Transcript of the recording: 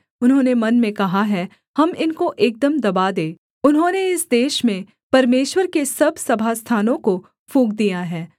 उन्होंने मन में कहा है हम इनको एकदम दबा दें उन्होंने इस देश में परमेश्वर के सब सभास्थानों को फूँक दिया है